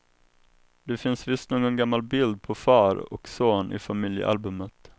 Det finns visst någon gammal bild på far och son i familjealbumet.